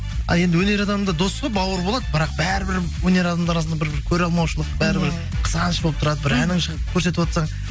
ал енді өнер адам да дос қой бауыр болады бірақ бәрібір өнер адамдар арасында бір көреалмаушылық бәрібір қызғаныш болып тұрады бір әнің көрсетіватсаң